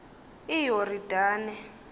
iyoridane